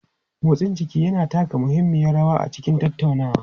Motsin jiki yana taka muhimmiyar rawa a cikin tattaunawa.